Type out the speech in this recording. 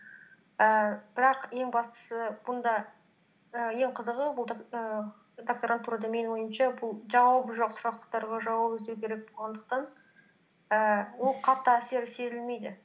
ііі бірақ ең бастысы бұнда і ең қызығы ііі докторантурада менің ойымша бұл жауабы жоқ сұрақтарға жауап іздеу керек болғандықтан ііі ол қатты әсері сезілмейді